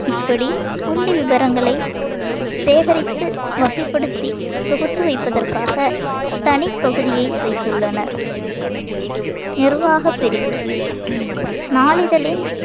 இப்படி புள்ளி விபரங்களை சேகரித்து வகைப்படுத்தி தொகுத்து வைப்பதற்காக தனிப்பகுதியை வைத்துள்ளனர் நிர்வாகப் பிரிவு நாளிதழின்